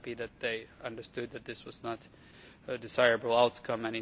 I am happy that they understood that this was not a desirable outcome.